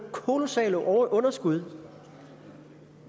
kolossale underskud